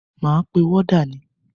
Máa pe wọ́dà ni.